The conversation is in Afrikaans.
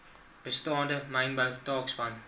bestaande mynbou taakspan